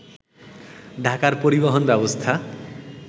ঢাকার পরিবহন ব্যবস্থা